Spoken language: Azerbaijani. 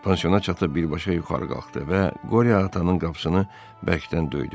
Pansioya çatıb birbaşa yuxarı qalxdı və Qoryo atanın qapısını bərkdən döydü.